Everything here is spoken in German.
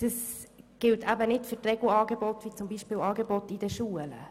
Dies gilt nicht für die Regelangebote wie beispielsweise jene in den Schulen.